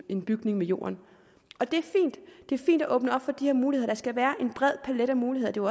en bygning med jorden og det er fint at åbne op for de her muligheder der skal være en bred palet af muligheder det